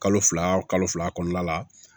Kalo fila kalo fila kɔnɔna la